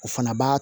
O fana b'a